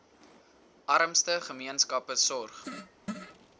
armste gemeenskappe sorg